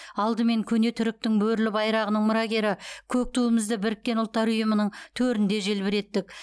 алдымен көне түріктің бөрілі байрағының мұрагері көк туымызды біріккен ұлттар ұйымының төрінде желбіреттік